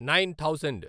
nine thousand